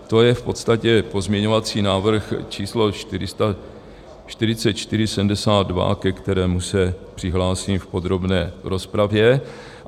To je v podstatě pozměňovací návrh č 4472, ke kterému se přihlásím v podrobné rozpravě.